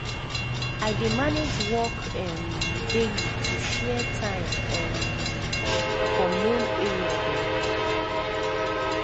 i dey manage work um daily to share time um for main area dem.